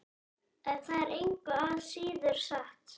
En það er engu að síður satt.